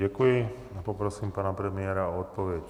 Děkuji a poprosím pana premiéra od odpověď.